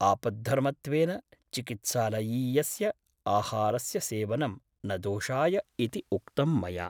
आपद्धर्मत्वेन चिकित्सालयीयस्य आहारस्य सेवनं न दोषाय इति उक्तं मया ।